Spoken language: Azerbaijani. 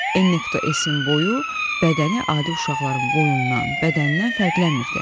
N.S-in boyu, bədəni adi uşaqların boyundan, bədənindən fərqlənmirdi.